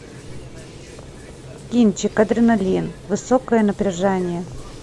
кинчик адреналин высокое напряжение